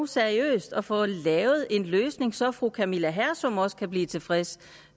seriøst at få lavet en løsning så fru camilla hersom også kan blive tilfreds